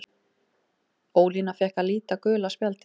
Ólína fékk að líta gula spjaldið.